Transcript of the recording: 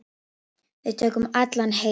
Við tökum allan heiður.